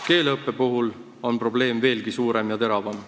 Keeleõppe puhul on probleem veelgi suurem ja teravam.